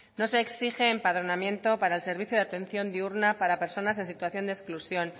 no se exige empadronamiento para el servicio de atención diurna para personas en situación de exclusión